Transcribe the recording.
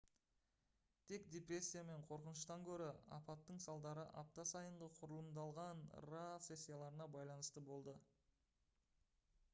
тек депрессия мен қорқыныштан гөрі апаттың салдары апта сайынғы құрылымдалған pa сессияларына байланысты болды